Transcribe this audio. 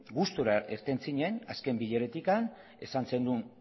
gustura irten zinen azken bileratik esan zenuen